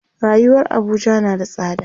rayuwar Abuja na da tsada